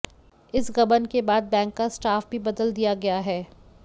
इस गबन के बाद बैंक का स्टाफ भी बदल दिया गया है